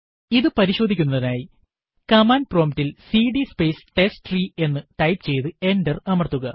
ഇത് പരിശോധിക്കുന്നതിനായി command prompt ൽ സിഡി സ്പേസ് ടെസ്റ്റ്രീ എന്ന് ടൈപ്പ് ചെയ്ത് എന്റർ അമർത്തുക